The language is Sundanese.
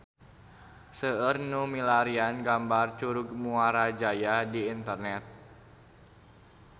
Seueur nu milarian gambar Curug Muara Jaya di internet